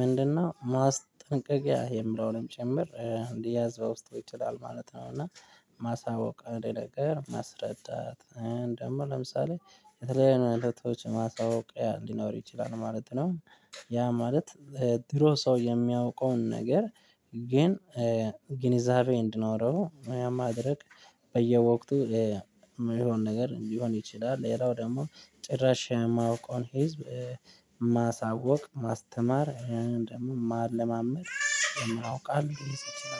ምንድነው ማስጠንቀቂያ የምለውንም ጭምር እንዲያዝ በውስጥ ይችላል ማለት ነው እና ማሳወቅ አንድ ነገር ማስረዳት እንደውም ለምሳሌ የተለያዩ እይነቶች ማሳወቂያ ሊኖር ይችላል ማለት ነው። ያ ማለት ድሮ ሰው የሚያውቀውን ነገር ግን ግንዛቤ እንድኖረው ያ ማድረግ በየወቅቱ የሚሆን ነገር ሊሆን ይችላል ሌላው ደግሞ ጭራሽ የማውቀውን ህዝብ ማሳወቅ ማስተማር ደግሞ ማለማመድ ማውቃለሁ ይሄ ስል